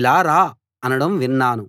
ఇలా రా అనడం విన్నాను